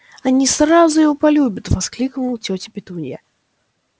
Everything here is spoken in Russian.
они сразу его полюбят воскликнула тётя петунья